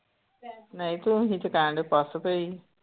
ਨਹੀਂ ਤੂੰ ਹੀ ਕਹਿਣਡੀ ਪੱਸ ਪਈ।